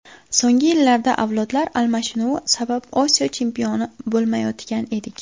So‘nggi yillarda avlodlar almashinuvi sabab Osiyo chempioni bo‘lolmayotgan edik.